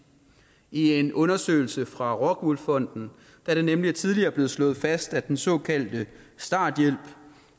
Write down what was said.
i en undersøgelse fra rockwool fonden er det nemlig tidligere blevet slået fast at den såkaldte starthjælp